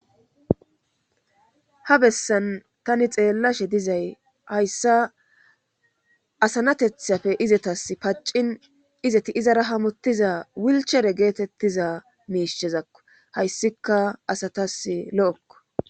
Ha bessan tani xeellashe dizay hayssa asanatethapfe izetas paccin izeti izara hamottiza wilchere geetettiza miishezakko hayssika asatas lo'okko